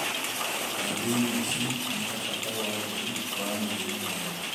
Kambĩni ici nĩ ta bata wa ũtheru wa mĩrĩre mĩega.